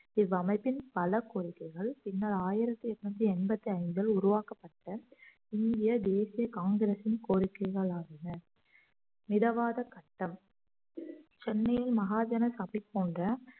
இவ்வமைப்பின் பல கோரிக்கைகள் பின்னர் ஆயிரத்தி எட்நூத்தி எண்பத்தி ஐந்தில் உருவாக்கப்பட்ட இந்திய தேசிய காங்கிரஸின் கோரிக்கைகள் ஆகியன மிதவாத சட்டம் சென்னையில் மகாஜன சபை போன்ற